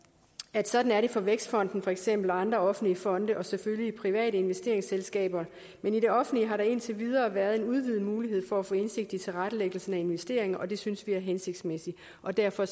at sådan er det for vækstfonden for eksempel og andre offentlige fonde og selvfølgelig private investeringsselskaber men i det offentlige har der indtil videre været en udvidet mulighed for at få indsigt i tilrettelæggelsen af investeringer og det synes vi er hensigtsmæssigt og derfor